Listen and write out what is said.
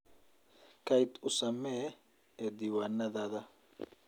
Kayd u ??samee ee diiwaanadaada.